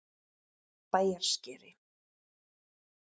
Bæjarskeri